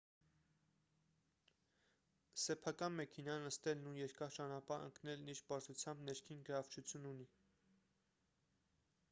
սեփական մեքենան նստելն ու երկար ճանապարհ ընկնելն իր պարզությամբ ներքին գրավչություն ունի